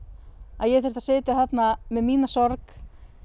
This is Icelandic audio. að ég þyrfti að sitja þarna með mína sorg